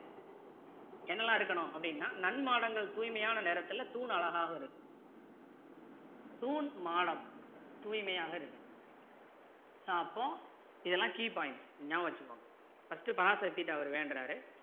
என்னெல்லாம் இருக்கணும் அப்படின்னா நன்மாடங்கள் தூய்மையான நிறத்துல தூண் அழகாka இருக்கும் தூண் மாடம் தூய்மையாக இருக்கணும் அப்போ இதெல்லாம் key points நியாபக வச்சிக்கோங்க first டு பராசத்திக்கிட்ட அவர் வேண்டுறாரு